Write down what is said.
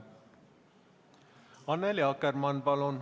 Annely Akkermann, palun!